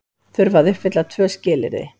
Þurfa að uppfylla tvö skilyrði